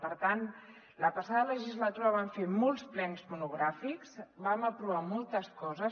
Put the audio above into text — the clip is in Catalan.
per tant la passada legislatura vam fer molts plens monogràfics vam aprovar mol·tes coses